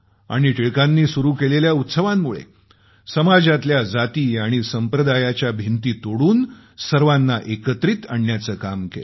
आणि टिळकांनी सुरू केलेल्या उत्सवांमुळे समाजातल्या जाती आणि संप्रदायांच्या भिंती तोडून सर्वांना एकत्रित करण्याचं काम केलं